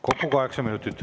Kokku kaheksa minutit.